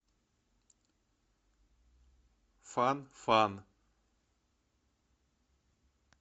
фан фан